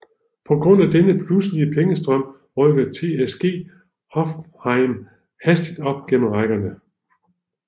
På grund af denne pludselige pengestrøm rykkede TSG Hoffenheim hastigt op gennem rækkerne